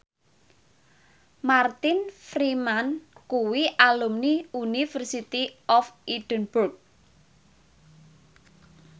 Martin Freeman kuwi alumni University of Edinburgh